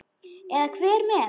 Eða hver fer með.